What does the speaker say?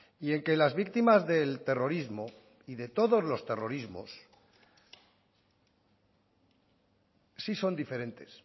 y en que las víctimas del terrorismo y de todos los terrorismos sí son diferentes